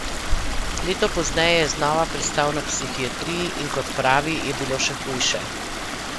Leto pozneje je znova pristal na psihiatriji, in kot pravi, je bilo še hujše.